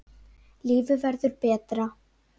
Lífið verður betra